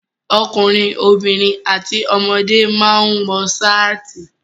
Ọkùnrin, obìnrin àti ọmọdé máa ń wọ ṣáàtì.